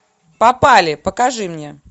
попали покажи мне